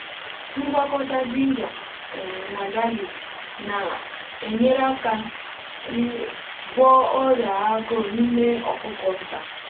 ngwakọta jinja um na galiki na-enyere aka um gwọọ oria agụụ n’ime ọkụkọ nta.